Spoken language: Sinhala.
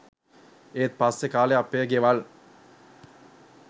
ඒත් පස්සේ කා‍ලේ අපේ ගෙවල්